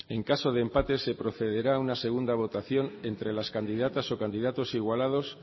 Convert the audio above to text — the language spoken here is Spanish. tres en caso de empate se procederá a una segunda votación entre las candidatas o candidatos igualados